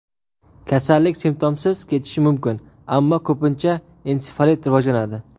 Kasallik simptomsiz kechishi mumkin, ammo ko‘pincha ensefalit rivojlanadi.